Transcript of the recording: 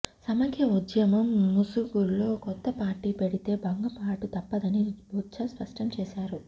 సమైక్య ఉద్యమం ముసుగులో కొత్త పార్టీ పెడితే భంగపాటు తప్పదని బొత్స స్పష్టం చేశారు